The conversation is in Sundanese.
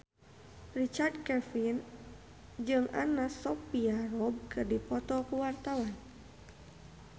Richard Kevin jeung Anna Sophia Robb keur dipoto ku wartawan